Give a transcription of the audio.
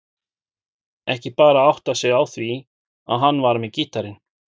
Ekki bara áttað sig á því að hann var með gítarinn.